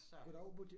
Så